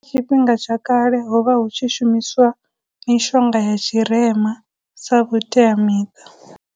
Tshifhinga tsha kale ho vha hu tshi shumiswa mishonga ya tshirema sa vhuteamiṱa.